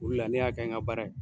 O de la ne y'a kɛ n ka baara ye.